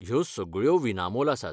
ह्यो सगळ्यो विनामोल आसात.